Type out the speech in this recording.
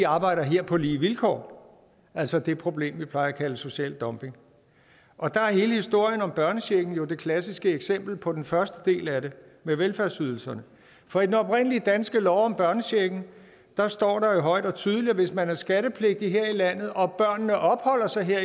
arbejder her på lige vilkår altså det problem vi plejer at kalde social dumping og der er hele historien om børnechecken jo det klassiske eksempel på den første del af det med velfærdsydelserne for i den oprindelige danske lov om børnechecken står der jo højt og tydeligt at hvis man er skattepligtig her i landet og børnene opholder sig her